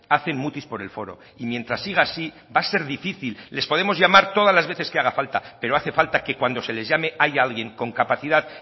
hacen mutis por el foro y mientras siga así va a ser difícil les podemos llamar todas las veces que haga falta pero hace falta que cuando se les llame haya alguien con capacidad